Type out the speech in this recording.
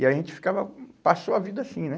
E a gente ficava, passou a vida assim, né?